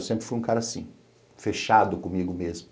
Eu sempre fui um cara assim, fechado comigo mesmo.